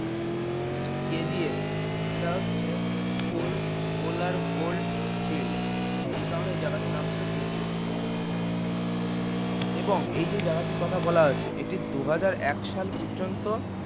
KGF এটা হচ্ছে coal kolar gold field এই কারণেই জায়গাটির নাম ছিল KGF এবং এই যে জায়গাটির কথা বলা আছে এটি দুহাজার এক সাল পর্যন্ত